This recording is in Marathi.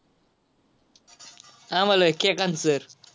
आम्हाला आहेत केकांत sir.